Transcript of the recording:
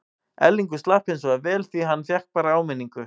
Erlingur slapp hinsvegar vel því hann fékk bara áminningu.